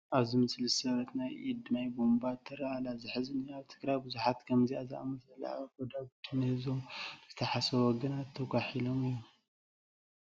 ኣብዚ ምስሊ ዝተሰበረት ናይ ኢድ ማይ ቡንባ ትርአ ኣላ፡፡ ዘሕዝን እዩ፡፡ ኣብ ትግራይ ብዙሓት ከምዚአ ዝኣምሰሉ ጐዳጒዲ ንህዝቦም ብዘይሓስቡ ወገናት ተጓሒሎም እዮም፡፡